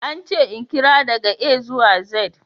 An ce in karanta daga A zuwa Z.